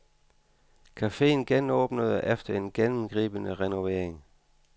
Cafeen genåbnede efter en gennemgribende renovering.